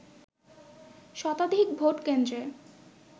শতাধিক ভোট কেন্দ্রে